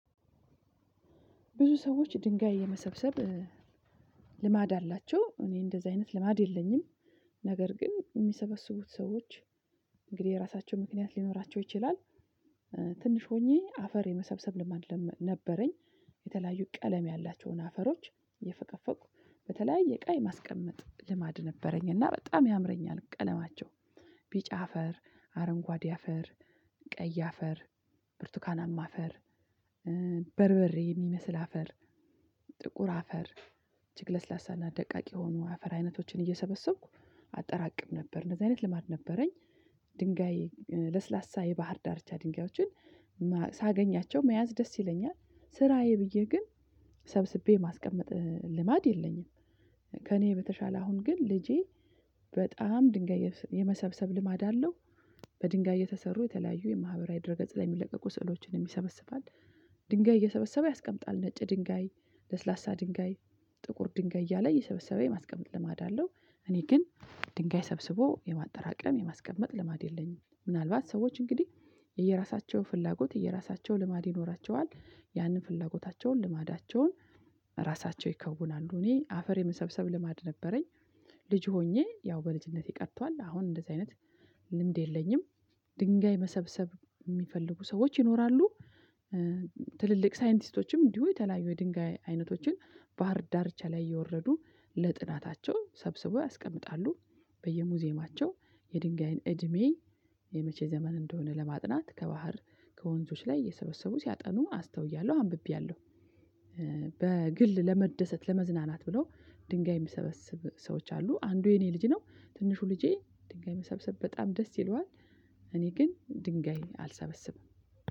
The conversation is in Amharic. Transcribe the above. ብዙ ሰዎች ድንጋይ የመሰብሰብ ልማድ አላቸው እኔ እንደዚህ አይነት ልማድ የለኝም፣ ነገር ግን የሚሰበስቡት ሰዎች እንግዲህ የራሳቸው ምክንያት ሊኖራቸው ይችላል ትንሽ ሆኜ አፈር የመሰብሰብ ልማድ ነበረኝ። የተለያዩ ቀለም ያላቸውን አፈሮች እየፈቀፈቅኩ በተለያየ እቃ የማስቀመጥ ልማድ ነበረኝ እና በጣም ያምረኛል ቀለማቸው ቢጫ አፈር፣ አረንጓዴ አፈር፣ ቀይ አፈር፣ ብርቱካናማ አፈር፣ በርበሬ የሚመስል አፈር፣ ጥቁር አፈር፣ እጅግ ለስላሳና ደቃቅ የሆኑ አፈር አይነቶችን እየሰበሰብኩ አጠራቅም ነበር። እንደዚህ አይነት ልማድ ነበረኝ ድንጋይ ለስላሳ የባህር ዳርቻ ድንጋዮችን ሳገኛቸው መያዝ ደስ ይለኛል ስራዬ ብዬ ግን ሰብስቤ ማስቀመጥ ልማድ የለኝም። ከእኔ በተሻለ አሁን ግን ልጄ በጣም ድንጋይ የመሰብሰብ ልማድ አለው። በድንጋይ የተሰሩ የተለያዩ የማህበራዊ ድር ገጽ ላይ የሚለቀቁ ስዕሎችንም ይሰበስባል፣ ድንጋይ እየሰበሰበ ያስቀምጣል ነጭ ድንጋይ፣ ለስላሳ ድንጋይ፣ ጥቁር ድንጋይ እያለ እየሰበሰበ የማስቀመጥ ልማድ አለው። እኔ ግን ድንጋይ ሰብስቦ የማጠራቀም የማስቀመጥ ልማድ የለኝም ምናልባት ሰዎች እንግዲህ የራሳቸው ፍላጎት የራሳቸውን ልማድ ይኖራቸዋል ያንን ፍላጎታቸውን ልማዳቸውን ራሳቸው ይከውናሉ። እኔ አፈር የመሰብሰብ ልማድ ነበረኝ ልጅ ሆኜ ያው በልጅነቴ ቀጥቷል አሁን እንደዚህ አይነት ልምድ የለኝም ድንጋይ መሰብሰብ የሚፈልጉ ሰዎች ይኖራሉ፣ ትልልቅ ሳይንቲስቶችም እንዲሁ የተለያዩ የድንጋይ አይነቶችን ባህር ዳርቻ ላይ እየወረዱ ለጥናታቸው ሰብስበው ያስቀምጣሉ በየሙዚየማቸው የድንጋይን እድሜ የመቼ ዘመን እንደሆነ ለማጥናት ከባህር ላይ እየሰበሰቡ ሲያጠኑ አስተውያለሁ አንብቤያለሁ። በግል ለመደሰት ለመዝናናት ብለው ድንጋይ የሚሰበስብ ሰዎች አሉ አንዱ የኔ ልጅ ነው ትንሹ ልጄ ድንጋይ መሰብሰብ በጣም ደስ ይለዋል እኔ ግን ድንጋይ አልሰበስብም።